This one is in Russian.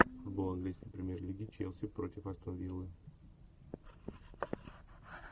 футбол английской премьер лиги челси против астон виллы